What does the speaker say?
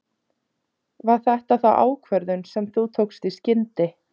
Var þetta ákvörðun sem þú tókst í skyndi?